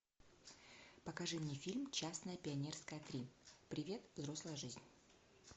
покажи мне фильм честное пионерское три привет взрослая жизнь